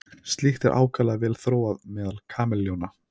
Slíkt er ákaflega vel þróað meðal kameljóna.